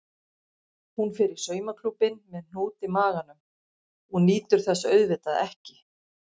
Hún fer í saumaklúbbinn með hnút í maganum og nýtur þess auðvitað ekki.